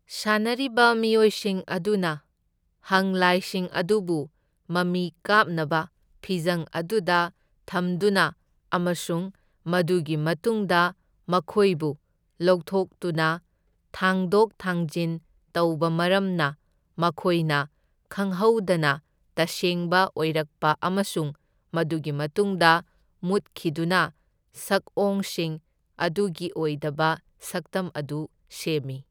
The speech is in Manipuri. ꯁꯥꯟꯅꯔꯤꯕ ꯃꯤꯑꯣꯏꯁꯤꯡ ꯑꯗꯨꯅ ꯍꯪꯂꯥꯏꯁꯤꯡ ꯑꯗꯨꯕꯨ ꯃꯃꯤ ꯀꯥꯞꯅꯕ ꯐꯤꯖꯪ ꯑꯗꯨꯗ ꯊꯝꯗꯨꯅ ꯑꯃꯁꯨꯡ ꯃꯗꯨꯒꯤ ꯃꯇꯨꯡꯗ ꯃꯈꯣꯏꯕꯨ ꯂꯧꯊꯣꯛꯇꯨꯅ ꯊꯥꯡꯗꯣꯛ ꯊꯥꯡꯖꯤꯟ ꯇꯧꯕ ꯃꯔꯝꯅ, ꯃꯈꯣꯏꯅ ꯈꯪꯍꯧꯗꯅ ꯇꯁꯦꯡꯕ ꯑꯣꯏꯔꯛꯄ ꯑꯃꯁꯨꯡ ꯃꯗꯨꯒꯤ ꯃꯇꯨꯡꯗ ꯃꯨꯠꯈꯤꯗꯨꯅ ꯁꯛꯑꯣꯡꯁꯤꯡ ꯑꯗꯨꯒꯤ ꯑꯣꯏꯗꯕ ꯁꯛꯇꯝ ꯑꯗꯨ ꯁꯦꯝꯃꯤ꯫